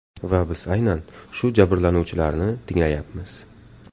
Va biz aynan shu jabrlanuvchilarni tinglayapmiz.